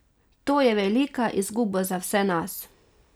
To je velika izguba za vse nas.